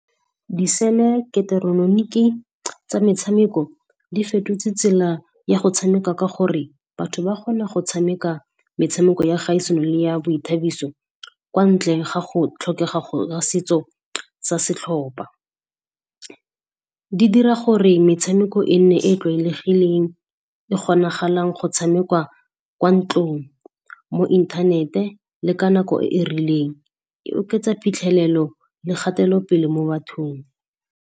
Diseleketeroloniki tsa metshameko di fetotse tsela ya go tshameka ka gore batho ba kgona go tshameka metshameko ya kgaisano le ya boithabiso kwa ntleng ga go tlhokega ga setso sa setlhopa. Di dira gore metshameko e nne e tlwaelegileng e kgonagalang go tshamekwa kwa ntlong mo inthanete le ka nako e e rileng. E oketsa phitlhelelo le kgatelopele mo bathong.